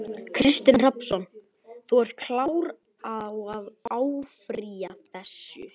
Kristinn Hrafnsson: Þú ert klár á að áfrýja þessu?